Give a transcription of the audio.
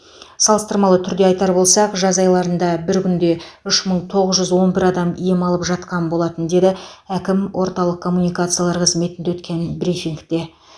салыстырмалы түрде айтар болсақ жаз айларында бір күнде үш мың тоғыз жүз он бір адам ем алып жатқан болатын деді әкім орталық коммуникациялар қызметінде өткен брифингте